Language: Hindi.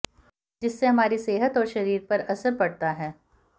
जिससे हमारी सेहत और शरीर पर असर पडता है